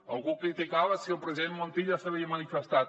algú criticava si el president montilla s’havia manifestat